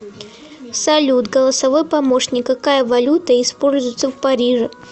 салют голосовой помощник какая валюта используется в париже